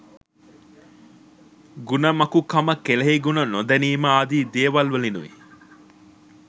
ගුණමකුකම කෙලෙහිගුණ නොදැනීම ආදී දේවල්වලිනුයි.